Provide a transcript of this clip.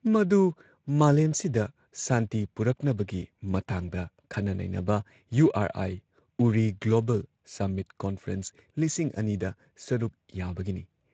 ꯃꯗꯨ ꯃꯥꯂꯦꯝꯁꯤꯗ ꯁꯥꯟꯇꯤ ꯄꯨꯔꯛꯅꯕꯒꯤ ꯃꯇꯥꯡꯗ ꯈꯟꯅ ꯅꯩꯅꯕ URI URI global summit conference ꯂꯤꯁꯤꯡ ꯑꯅꯤ ꯗ ꯁꯔꯨꯛ ꯌꯥꯕꯒꯤꯅꯤ ꯫